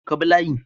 Ka bi layi